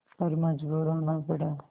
पर मजबूर होना पड़ा